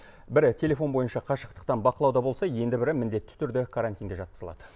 бірі телефон бойынша қашықтықтан бақылауда болса енді бірі міндетті түрде карантинге жатқызылады